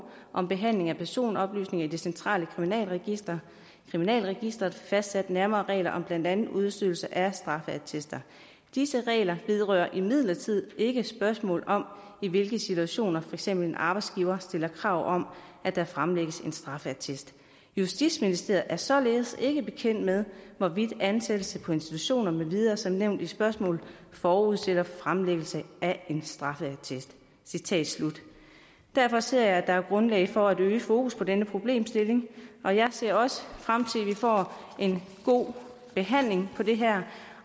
om behandling af personoplysninger i det centrale kriminalregister kriminalregister fastsat nærmere regler om blandt andet udstedelse af straffeattester disse regler vedrører imidlertid ikke spørgsmålet om i hvilke situationer for eksempel en arbejdsgiver stiller krav om at der fremlægges en straffeattest justitsministeriet er således ikke bekendt med hvorvidt ansættelse på institutioner med videre som nævnt i spørgsmålet forudsætter fremlæggelse af en straffeattest derfor ser jeg at der er grundlag for at øge fokus på denne problemstilling og jeg ser også frem til at vi får en god behandling af det her